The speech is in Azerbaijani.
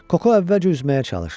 Koko əvvəlcə üzməyə çalışır.